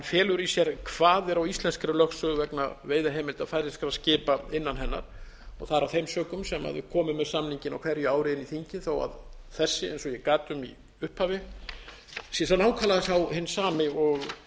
felur í sér kvaðir á íslenskri lögsögu vegna veiðiheimilda færeyskra skipa innan hennar það er af þeim sökum sem við komum með samninginn á hverju ári inn í þingið þó þessi eins og ég gat um í upphafi sé nákvæmlega sá hinn sami og við